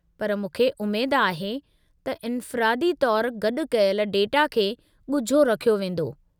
पर मूंखे उमेद आहे त इन्फ़िरादी तौरु गॾु कयल डेटा खे ॻुझो रखियो वेंदो।